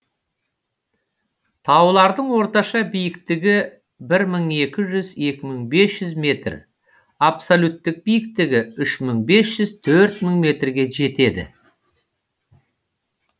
таулардың орташа биіктігі бір мың екі жүз екі мың бес жүз метр абсолюттік биіктігі үш мың бес жүз төрт мың метрге жетеді